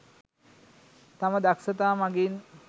තම දක්ෂතා මගින්